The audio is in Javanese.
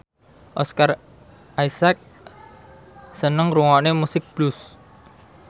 Oscar Isaac seneng ngrungokne musik blues